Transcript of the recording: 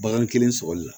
Bagan kelen sɔgɔli la